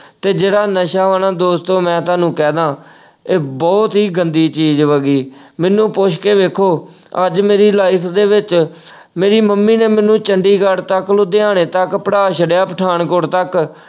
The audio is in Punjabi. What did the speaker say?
ਤੇ ਜਿਹੜਾ ਨਸ਼ਾ ਵਾ ਨਾ ਦੋਸਤੋ ਮੈਂ ਤੁਹਾਨੂੰ ਕਹਿ ਦਾ, ਇਹ ਬਹੁਤ ਹੀ ਗੰਦੀ ਚੀਜ਼ ਵਾ ਗੀ, ਮੈਨੂੰ ਪੁੱਛ ਕੇ ਵੇਖੋ ਅੱਜ ਮੇਰੀ life ਦੇ ਵਿੱਚ ਮੇਰੀ ਮੰਮੀ ਨੇ ਮੈਨੂੰ ਚੰਡੀਗੜ੍ਹ ਤੱਕ ਲੁਧਿਆਣੇ ਤੱਕ ਪੜ੍ਹਾ ਛੱਡਿਆ ਪਠਾਨਕੋਟ ਤੱਕ।